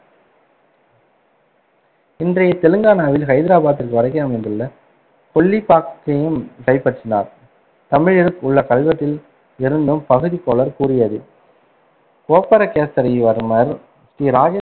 இன்றைய தெலுங்கானாவில் ஹைதராபாத்திற்கு வடக்கே அமைந்துள்ள கொல்லிப்பாக்கையும் கைப்பற்றினார். தமிழில் உள்ள கல்வெட்டில் இருந்தும் பகுதிகோலார் கூறியது கோப்பரகேசரிவன்மர் ஸ்ரீ இரா~